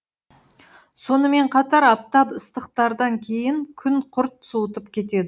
сонымен қатар аптап ыстықтардан кейін күн құрт суытып кетеді